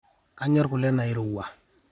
kanyorr kule nairowua